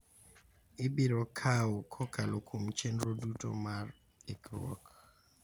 ibiro kawo kokalo kuom chenro duto mar ikruok.